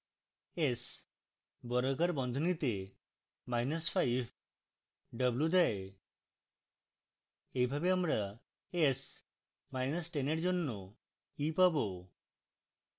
s বর্গাকার বন্ধনীতে minus five w দেয়